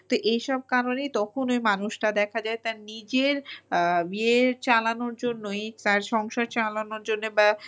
তো এইসব কারণেই তখন ওই মানুষটা দেখা যায় তার নিজের ইয়ের চালানোর জন্যই নিজের সংসার চালানোর জন্যই বা